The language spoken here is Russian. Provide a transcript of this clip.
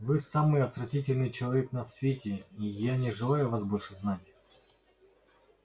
вы самый отвратительный человек на свете и я не желаю вас больше знать